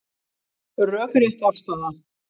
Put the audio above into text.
Rökrétt afstaða